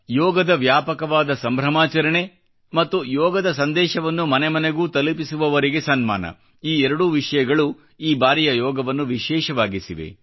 ಯೋಗದ ವ್ಯಾಪಕವಾದ ಸಂಭ್ರಮಾಚರಣೆ ಮತ್ತು ಯೋಗದ ಸಂದೇಶವನ್ನು ಮನೆ ಮನೆಗೂ ತಲುಪಿಸುವವರಿಗೆ ಸನ್ಮಾನ ಈ ಎರಡೂ ವಿಷಯಗಳು ಈ ಬಾರಿಯ ಯೋಗವನ್ನು ವಿಶೇಷವಾಗಿಸಿದೆ